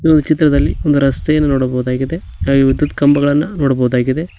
ನೀವು ಚಿತ್ರದಲ್ಲಿ ಒಂದು ರಸ್ತೆಯನ್ನು ನೋಡಬಹುದಾಗಿದೆ ಹಾಗೆ ವಿದ್ಯುತ್ ಕಂಬಗಳನ್ನ ನೋಡಬಹುದಾಗಿದೆ.